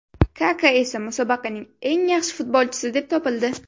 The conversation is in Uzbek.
Kaka esa musobaqaning eng yaxshi futbolchisi deb topildi.